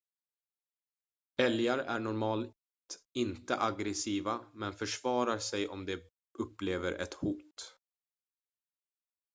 älgar är normalt inte aggressiva men försvarar sig om de upplever ett hot